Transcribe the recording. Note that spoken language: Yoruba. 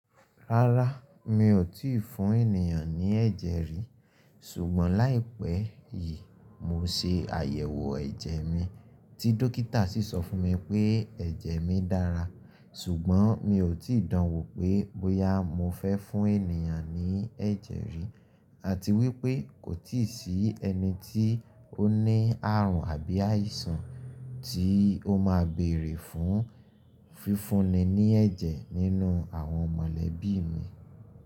Rárá, mi ò tíì fún ènìyàn ní ẹ̀jẹ̀ rí. Ṣùgbọ́n láìpẹ́ yìí mo ṣe àyẹ̀wò ẹ̀jẹ̀ mi, tí dókítà sì sọ fún mi pé ẹ̀jẹ̀ mi dára. Ṣùgbọ́n mi ò tíì dán wò pé bóyá mo fẹ́ fún ènìyàn ní ẹ̀jẹ̀ rí, àti wípé kò tíì sí ẹni tí ó ní àrùn àbí àìsàn tí ó máa bèèrè fún fífúnni ní ẹ̀jẹ̀ nínú àwọn mọ̀lẹ́bí mi.